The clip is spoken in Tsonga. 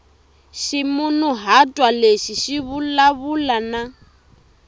ximunhuhatwa lexi xi vulavula na